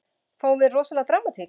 Fáum við rosalega dramatík?